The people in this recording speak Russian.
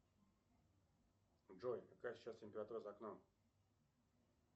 джой какая сейчас температура за окном